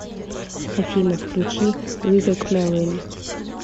афина включи вивек мервин